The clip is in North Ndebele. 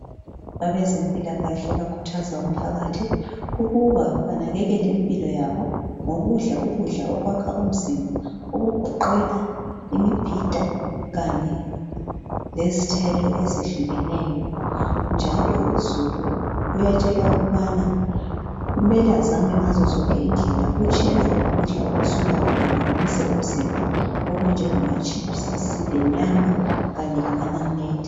Abezempilakahle bakhuthuza umphakathi ukuba banakakele impilo yabo ngokudla ukudla okwakha umzimba , okugoqela imibhida kanye lezithelo ezehlukehlukeneyo njalo uzulu uyatshelwa ukubana kumele azame ngazozonke indlela ukutshiyana lokudla okusuka kuphambanise umzimba okunjengamachips , lenyama kanye lamanamunede